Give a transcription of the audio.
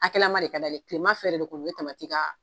Akɛlama de ka d'ale ye kilema fɛ de ko o be tamati kaa